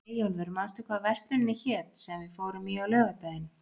Eyjólfur, manstu hvað verslunin hét sem við fórum í á laugardaginn?